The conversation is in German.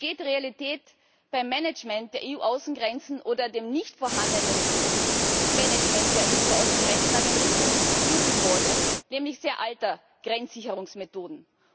Jetzt geht die Realität beim Management der EU Außengrenzen oder dem nicht vorhandenen Management der EU Außengrenzen aber in Richtung nämlich sehr alter Grenzsicherungsmethoden.